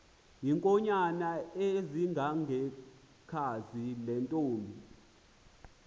iinkonyan ezingangekhazi lentomb